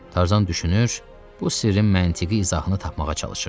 Tarzan düşünür, bu sirrin məntiqi izahını tapmağa çalışırdı.